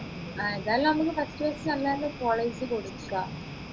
ഏതായാലും നമ്മുക്ക് first first നല്ല നല്ല college കൊടുക്കാ